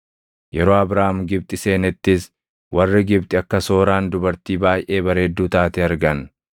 Yeroo Abraam Gibxi seenettis warri Gibxi akka Sooraan dubartii baayʼee bareedduu taate argan.